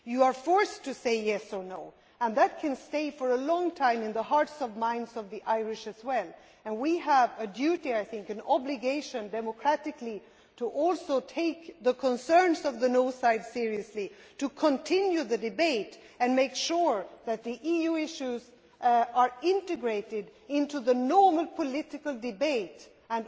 You are forced to say yes' or no' and that can stay for a long time in the hearts and minds of the Irish as well. We have a duty, an obligation democratically, to also take the concerns of the no' side seriously, to continue the debate and make sure that the EU issues are integrated into the normal political debate, including